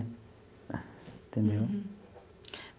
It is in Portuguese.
Entendeu?